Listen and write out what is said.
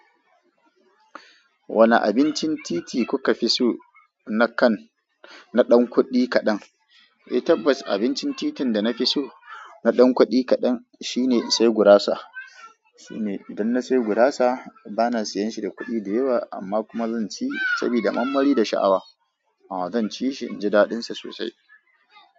Wane abincin titi kuka fi so na kan, na ɗan kuɗi kaɗan? Eh tabbas abincin titin da na fi so na ɗan kuɗi kaɗan shine sai gurasa. Shine, idan na sai gurasa bana siyan shi da kuɗi da yawa amma kuma zan ci sabida mammari da sha'awa. A'a zan ci shi inji daɗinsa sosai.